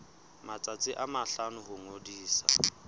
matsatsi a mahlano ho ngodisa